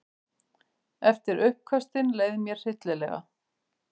Eftir uppköstin leið mér hryllilega.